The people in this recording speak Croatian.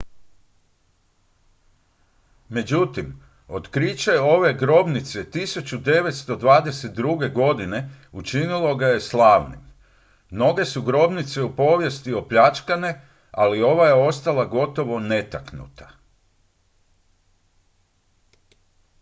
međutim otkriće ove grobnice 1922. godine učinilo ga je slavnim mnoge su grobnice u povijesti opljačkane ali ova je ostala gotovo netaknuta